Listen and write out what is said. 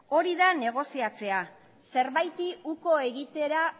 hori da negoziatzea zerbaiti uko egitera